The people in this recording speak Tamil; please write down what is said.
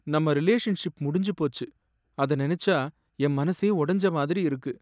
நம்ம ரிலேஷன்ஷிப் முடிஞ்சு போச்சு, அத நனைச்சா என் மனசே ஒடஞ்ச மாதிரி இருக்கு